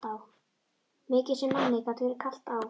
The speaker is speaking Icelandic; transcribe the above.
Mikið sem manni gat verið kalt á